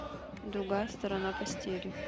другая сторона постели